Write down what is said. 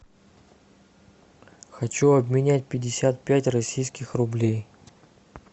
хочу обменять пятьдесят пять российских рублей